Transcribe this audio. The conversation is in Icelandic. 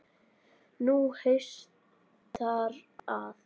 Nú haustar að.